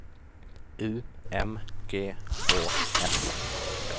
U M G Å S